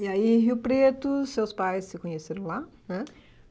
E aí, em Rio Preto, seus pais se conheceram lá, né?